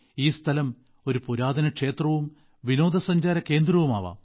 ഈ സ്ഥലം ഒരു പുരാതന ക്ഷേത്രവും വിനോദസഞ്ചാര കേന്ദ്രവുമാകാം